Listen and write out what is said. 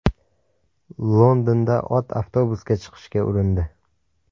Londonda ot avtobusga chiqishga urindi .